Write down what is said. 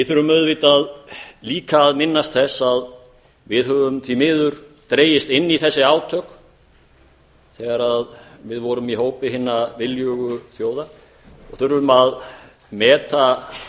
þurfum auðvitað líka að minnast þess að við höfum því miður dregist inn í þessi átök þegar við vorum í hópi hinna viljugu þjóða og þurfum að meta